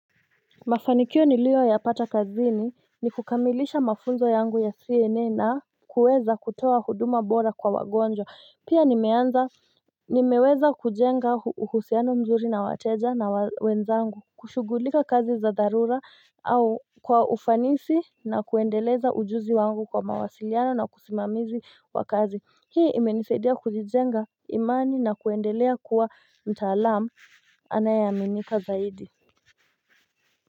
Mafanikio niliyoyapata kazini ni kukamilisha mafunzo yangu ya CNN na kuweza kutoa huduma bora kwa wagonjwa pia nimeanza nimeweza kujenga uhusiano mzuri na wateja na wenzangu kushugulika kazi za dharura au kwa ufanisi na kuendeleza ujuzi wangu kwa mawasiliano na usimamizi wa kazi. Hii imenisaidia kujijenga imani na kuendelea kuwa mtaalamu anayeaminika zaidi.